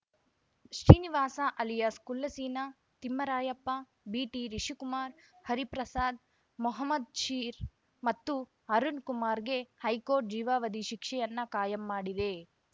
Srinivasa alias Kulla Seena Thimmarayappa ಬಿಟಿರಿಷಿಕುಮಾರ್‌ ಹರಿಪ್ರಸಾದ್‌ ಮೊಹಮದ್‌ ಶೀರ್‌ ಮತ್ತು ಅರುಣ ಕುಮಾರ್‌ಗೆ ಹೈಕೋರ್ಟ್‌ ಜೀವಾವಧಿ ಶಿಕ್ಷೆಯನ್ನು ಕಾಯಂ ಮಾಡಿದೆ